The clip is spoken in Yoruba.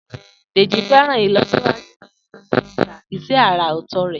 Deji fẹ́ràn ìlọsíwájú ìdúróṣinṣin iṣẹ́ àrà ọ̀tọ̀ rẹ̀.